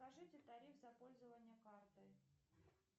скажите тариф за пользование картой